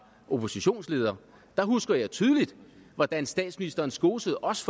oppositionsleder der husker jeg tydeligt hvordan statsministeren skosede os